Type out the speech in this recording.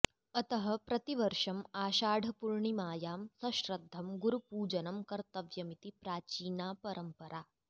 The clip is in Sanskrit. अतः प्रतिवर्षम् आषाढपूर्णिमायां सश्रद्धं गुरुपूजनं कर्तव्यमिति प्राचीना परम्परा